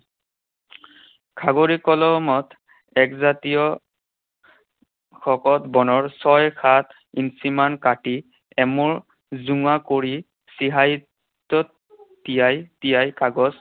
খাগৰি কলমৰ একজাতীয় শকত বনৰ ছয়, সাত ইঞ্চিমান কাটি এমূৰ জোঙা কৰি চিয়াঁহীটোত তিয়াই তিয়াই কাগজ